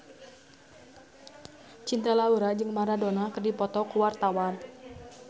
Cinta Laura jeung Maradona keur dipoto ku wartawan